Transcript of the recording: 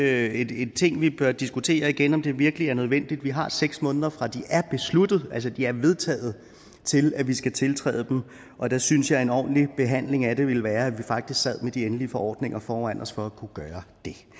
er en ting som vi bør diskutere igen altså om det virkelig er nødvendigt vi har seks måneder fra de er vedtaget til at vi skal tiltræde dem og der synes jeg at en ordentlig behandling af det ville være at vi faktisk sad med de endelige forordninger foran os for at kunne gøre